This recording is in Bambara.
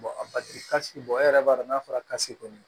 a batiri kasi e yɛrɛ b'a dɔn n'a fɔra kɔni